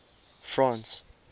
france